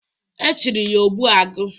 E tiri ya "Ogbu agu."